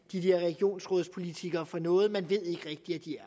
de der regionsrådspolitikere for noget man ved ikke rigtig at de